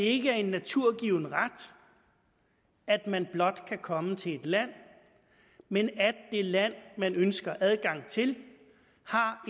ikke er en naturgiven ret at man blot kan komme til et land men at det land man ønsker adgang til har